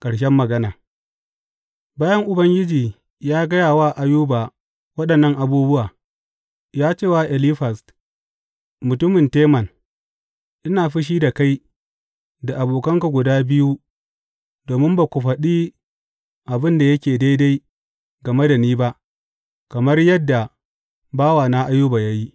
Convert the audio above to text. Ƙarshen magana Bayan Ubangiji ya gaya wa Ayuba waɗannan abubuwa, ya ce wa Elifaz mutumin Teman, Ina fushi da kai da abokanka guda biyu domin ba ku faɗi abin da yake daidai game da ni ba, kamar yadda bawana Ayuba ya yi.